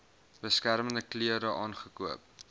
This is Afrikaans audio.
beskermende klere aangekoop